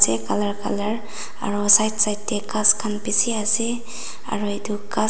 de color color aro side side te ghas khan bishi ase aro itu ghas--